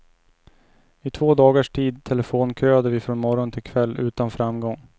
I två dagars tid telefonköade vi från morgon till kväll utan framgång.